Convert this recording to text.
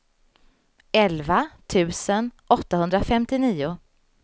elva tusen åttahundrafemtionio